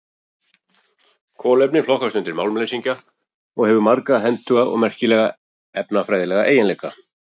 Kolefni flokkast undir málmleysingja og hefur marga hentuga og merkilega efnafræðilega eiginleika.